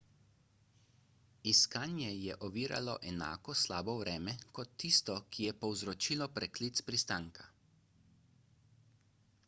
iskanje je oviralo enako slabo vreme kot tisto ki je povzročilo preklic pristanka